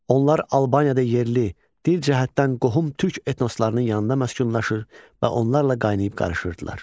Onlar Albaniyada yerli, dil cəhətdən qohum türk etnoslarının yanında məskunlaşır və onlarla qaynayıb-qarışırdılar.